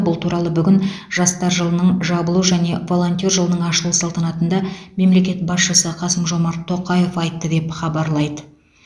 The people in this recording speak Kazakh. бұл туралы бүгін жастар жылының жабылу және волонтер жылының ашылу салтанатында мемлекет басшысы қасым жомарт тоқаев айтты деп хабарлайды